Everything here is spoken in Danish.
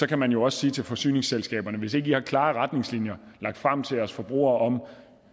kan man jo også sige til forsyningsselskaberne hvis ikke i har klare retningslinjer lagt frem til os forbrugere om